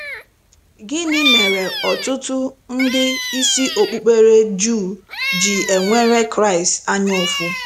Gịnị mere ọtụtụ ndị isi okpukpere juu ji enwere Kraịst anya ụfụ